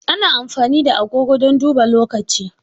Ana amfani da agogo don duba lokaci.